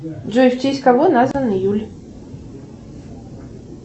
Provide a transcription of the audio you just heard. джой в честь кого назван июль